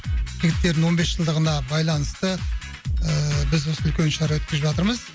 жігіттердің он бес жылдығына байланысты ыыы біз осы үлкен шара өткізіп жатырмыз